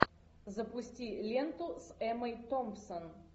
запусти ленту с эммой томпсон